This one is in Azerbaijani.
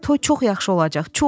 Toy çox yaxşı olacaq, çox!